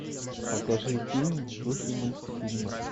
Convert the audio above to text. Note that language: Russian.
покажи фильм в духе мультфильма